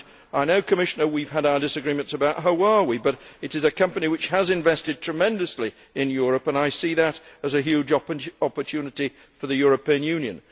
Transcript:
I know, Commissioner, we have had our disagreements about Huawei, but it is a company which has invested tremendously in Europe, and I see that as a huge opportunity for the European Union.